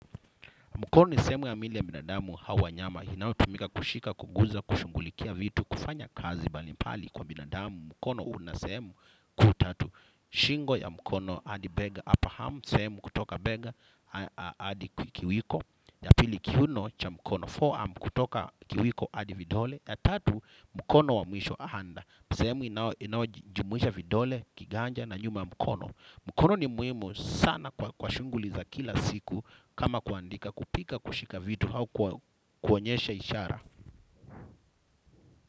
Mkono ni sehemu ya mwili ya binadamu hawa nyama. Inayotumika kushika, kuguza, kushughulikia vitu, kufanya kazi mbalimbali kwa binadamu. Mkono unasehemu kuu tatu. Shingo ya mkono adi bega apahamu. Sehemu kutoka bega adi kwa kiwiko. Ya pili kiuno cha mkono fore arm kutoka kiwiko adi vidole. Ya tatu mkono wa mwisho ahanda. Sehemu inaojumuisha vidole, kiganja na nyuma ya mkono. Mkono ni muimu sana kwa shunguli za kila siku. Kama kuandika kupika kushika vitu hau kunyesha ishara.